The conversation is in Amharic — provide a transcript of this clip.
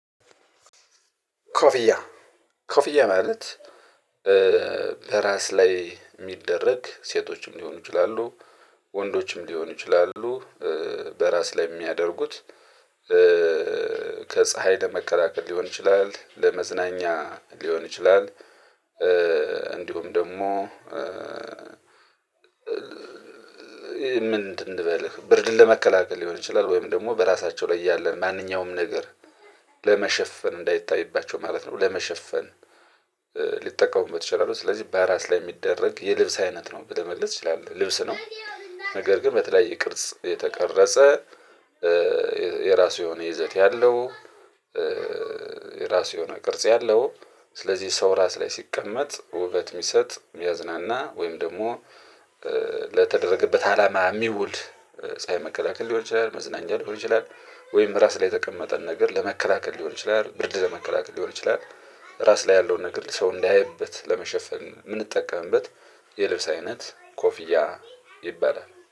ኮፊያ። ኮፊያ ማለት በራስ ላይ የሚደረግ ሴቶችም ሊሆኑ ይችላሉ ወንዶችም ሊሆኑ ይችላሉ በራስ ላይ የሚያደርጉት። ከፀሀይ ለመከላከል ሊሆን ይችላል ለመዝናኛ ሊሆን ይችላል። እንዲሁም ደግሞ ምንድን? ልበልህ ብርድን ለመከላከል ሊሆን ይችላል ወይም ደግሞ በራሳቸው ላይ ያለን ማንኛውም ነገር ለመሸፈን እንዳይታይባቸው ማለት ነው። ለመሸፈን ሊጠቀሙበት ይችላሉ። ስለዚህ በራስ ላይ የሚደረግ የልብስ አይነት ነው ብለህ መልስ ትችላለህ ልብስ ነው። ነገር ግን በተለያየ ቅርጽ የተቀረጸ የራሱ የሆነ ይዘት ያለው። የራሱ የሆነ ቅርጽ ያለው ስለዚህ ሰው ራስ ላይ ሲቀመጥ ውበት የሚሰጥ የሚያዝናና ወይም ደግሞ ለተደረገበት አላማ የሚውል ፀሀይ መከላከል ሊሆን ይችላል መዝናኛ ሊሆን ይችላል። ወይም ራስ ላይ የተቀመጠን ነገር ለመከላከል ሊሆን ይችላል ብርድ ለመከላከል ሊሆን ይችላል። ራስ ላይ ያለውን ነገር ሰው እንዳየበት ለመሸፈን የምንጠቀምበት የልብስ አይነት ኮፊያ ይባላል